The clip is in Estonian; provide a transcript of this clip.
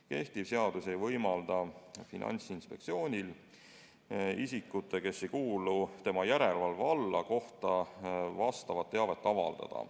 Kehtiv seadus ei võimalda Finantsinspektsioonil nende isikute kohta, kes ei kuulu tema järelevalve alla, sellist teavet avaldada.